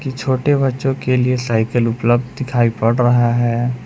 ई छोटे बच्चों के लिए साइकिल उपलब्ध दिखाई पड़ रहा है।